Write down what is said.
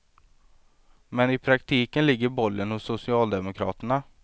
Men i praktiken ligger bollen hos socialdemokraterna.